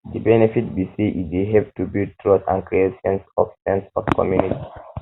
di benefit be say e dey help to build trust and create sense of sense of community